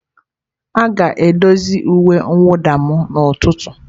A ga-edozi uwe mwụda m n'ụtụtụ.